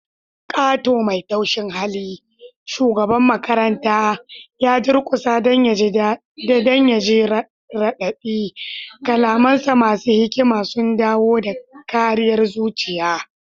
Kato mai taushin hali, shugaban makaranta, ya durkusa don ya ji radadi, kalamansa masu hikima sun dawo da karayar zuciya.